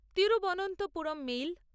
Thiruvananthapuram mail